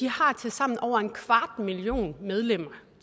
har tilsammen over en kvart million medlemmer